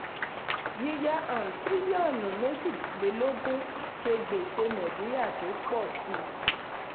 yíyá um tírílíọ̀nù méjìlélógún ṣe gbèsè nàìjíríà tó pọ síi.